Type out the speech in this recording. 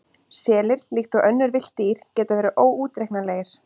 Selir, líkt og önnur villt dýr, geta verið óútreiknanlegir.